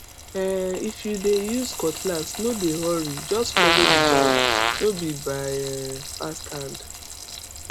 um if you dey use cutlass no dey hurryjust follow the vibe no be by um fast hand